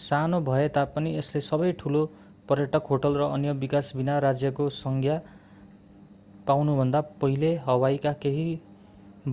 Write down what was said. सानो भए तापनि यसले सबै ठूला पर्यटक होटेल र अन्य विकास बिना राज्यको संज्ञा पाउनुभन्दा पहिले हवाईका केही